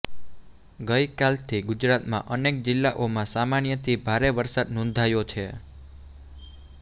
ગઈકાલથી ગુજરાતમાં અનેક જિલ્લાઓમાં સામાન્યથી ભારે વરસાદ નોંધાયો છે